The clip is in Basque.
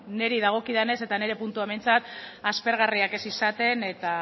niri dagokidanez eta nire puntuan behintzat aspergarriak ez izaten eta